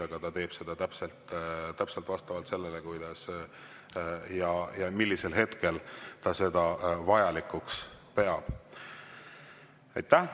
Aga ta teeb seda täpselt vastavalt sellele, millisel hetkel ta seda vajalikuks peab.